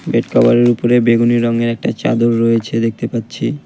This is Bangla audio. বেড কাভারের উপরে বেগুনি রংয়ের একটা চাদর রয়েছে দেখতে পাচ্ছি।